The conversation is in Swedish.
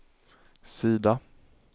sida